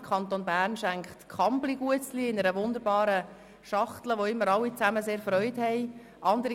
Der Kanton Bern pflegt Kambly-Biskuits in einer wunderbaren Schachtel zu schenken, an welcher die Beschenkten immer grosse Freude haben.